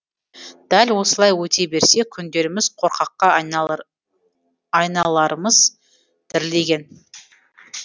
дәл осылай өте берсе күндеріміз қорқаққа айналармыз дірілдеген